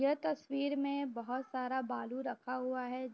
यह तस्वीर में बहुत सारा बालू रखा हुआ है।